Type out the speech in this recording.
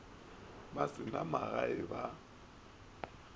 ba se na magae ba